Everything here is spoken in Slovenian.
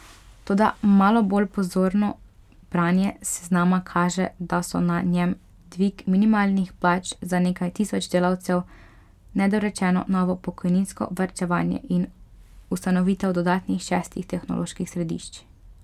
Toda malo bolj pozorno branje seznama kaže, da so na njem dvig minimalnih plač za nekaj tisoč delavcev, nedorečeno novo pokojninsko varčevanje in ustanovitev dodatnih šestih tehnoloških središč.